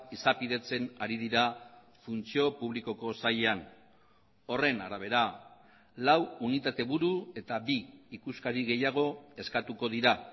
izapidetzen ari dira funtzio publikoko sailean horren arabera lau unitate buru eta bi ikuskari gehiago eskatuko dira